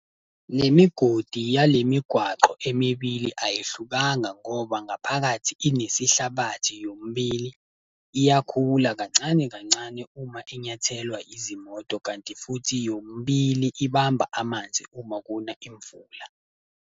Le migodi yale migwaqo emibili ayihlukanga ngoba ngaphakathi inesihlabathi yomibili. Iyakhula kancane, kancane uma inyathelwa izimoto kanti futhi yomibili ibamba amanzi uma kuna imvula.